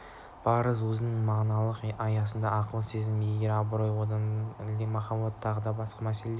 парыз өзінің мағыналық аясына ақыл сезім ерік абырой ар-ождан әділдік шындық махаббат тағы басқа да мәселелерді